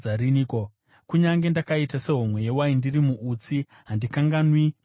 Kunyange ndakaita sehomwe yewaini ndiri muutsi, handikanganwi mitemo yenyu.